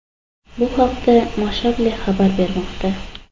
Bu haqda Mashable xabar bermoqda .